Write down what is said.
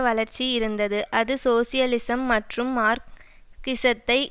வளர்ச்சி இருந்தது அது சோசியலிசம் மற்றும் மார்க்சிசத்தை